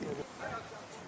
Niyə dayanıb?